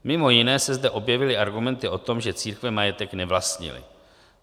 Mimo jiné se zde objevily argumenty o tom, že církve majetek nevlastnily.